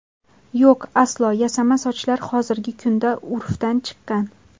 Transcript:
Yo‘q, aslo, Yasama sochlar hozirgi kunda urfdan chiqqan.